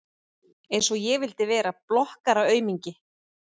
Einsog ég vildi vera blokkaraaumingi!